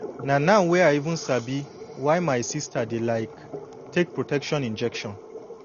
na now wey i even sabi why my sister dey like take protection injection